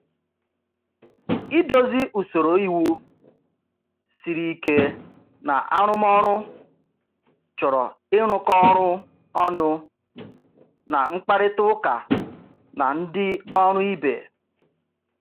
Idozi usoro iwu siri ike na arụmọrụ chọrọ ịrụkọ ọrụ ọnụ na mkparịta ụka na ndị ọrụ ibe.